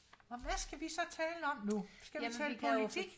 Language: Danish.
og hvad skal vi så tale om nu skal vi tale politik